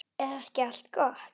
Er ekki allt gott?